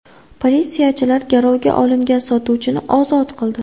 Politsiyachilar garovga olingan sotuvchini ozod qildi.